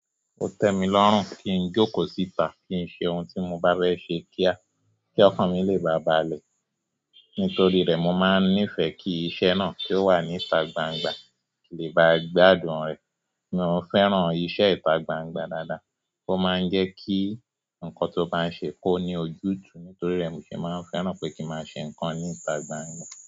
Ó tẹ́ mi lọ́rùn kí n jókòó síta, kí n ṣe ohun tí mo bá bẹ́ ṣe kíá, kí ọkàn mi lè bà bàlẹ̀. Nítorí rẹ̀ mo máa ń nífẹ̀ẹ́ kí iṣẹ́ náà ki o wà níta gbangba ki lè ba gbádùn rẹ̀. Mi ò fẹ́ràn iṣẹ́ ìta gbangba dáadáa. Ó máa ń jẹ́ kí nǹkan tó bá ń ṣe kó ní ojútùú. Torí rẹ̀ mó ṣé máa ń fẹ́ràn pé kí n máa ṣe nǹkan níta gbangba.